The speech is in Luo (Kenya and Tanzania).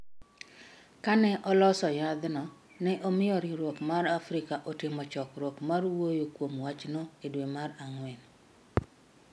Ka ne oloso yadhno, ne omiyo riwruok mar Afrika otimo chokruok mar wuoyo kuom wachno e dwe mar ang’wen.